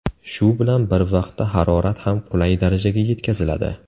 Shu bilan bir vaqtda harorat ham qulay darajaga yetkaziladi.